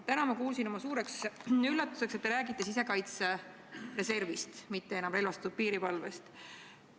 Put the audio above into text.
Täna ma kuulsin oma suureks üllatuseks, et te räägite sisekaitsereservist, mitte enam relvastatud piirivalvest.